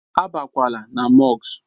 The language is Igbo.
Á bakwala na mọsk!